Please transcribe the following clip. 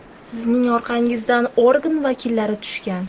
Sizning orqangizdan organ vakillari tushgan.